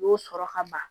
U y'o sɔrɔ ka ban